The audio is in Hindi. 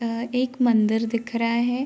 अ एक मंदिर दिख रहा है।